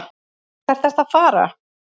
Hvert ertu að fara?